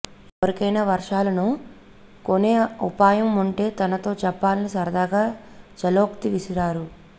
ఎవరికైన వర్షాలను కొనే ఉపాయం ఉంటే తనతో చెప్పాలని సరదాగా ఛలోక్తి విసిరారు